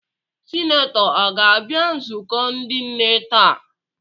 Sinetọ a ga-abịa nzukọ ndị nne taa?